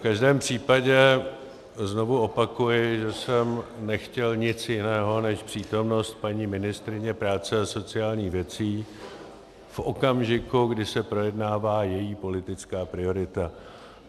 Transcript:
V každém případě znovu opakuji, že jsem nechtěl nic jiného než přítomnost paní ministryně práce a sociálních věcí v okamžiku, kdy se projednává její politická priorita.